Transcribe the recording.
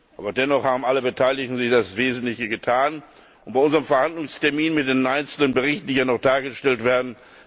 Aber dennoch haben alle Beteiligten hier das Wesentliche getan bei unseren Verhandlungsterminen zu den einzelnen Berichten, die hier noch dargestellt werden.